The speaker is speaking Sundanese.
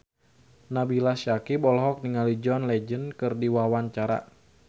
Nabila Syakieb olohok ningali John Legend keur diwawancara